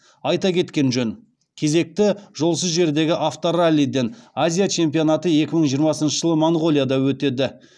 айта кеткен жөн кезекті жолсыз жердегі автораллиден азия чемпионаты екі мың жиырмасыншы жылы моңғолияда өтеді